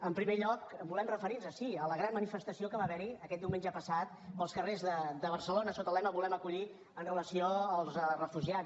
en primer lloc ens volem referir sí a la gran manifestació que va haver hi aquest diumenge passat pels carrers de barcelona sota el lema volem acollir amb relació als refugiats